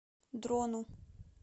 дрону